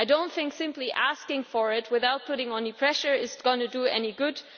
I do not think that simply asking for it without putting on any pressure is going to do any good.